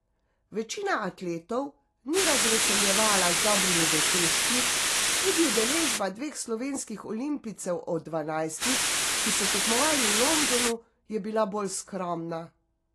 Večina atletov ni razveseljevala z dobrimi dosežki, tudi udeležba dveh slovenskih olimpijcev od dvanajstih, ki so tekmovali v Londonu, je bila bolj skromna.